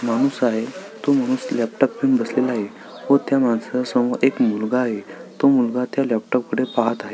माणूस आहे तो माणूस लॅपटॉप घेऊन बसला आहे व त्या मानसा समोर एक मुलगा आहे व तो मुलगा त्या लॅपटॉप कड पाहत आहे.